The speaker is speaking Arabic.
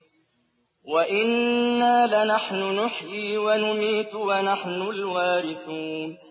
وَإِنَّا لَنَحْنُ نُحْيِي وَنُمِيتُ وَنَحْنُ الْوَارِثُونَ